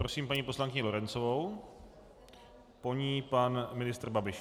Prosím paní poslankyni Lorencovou, po ní pan ministr Babiš.